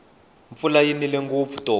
mpfula yi nile ngopfu tolo